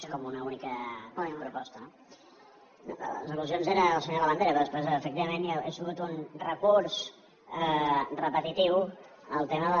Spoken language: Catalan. és com una única proposta no les al·lusions eren del senyor labandera però després efectivament ha sigut un recurs repetitiu el tema del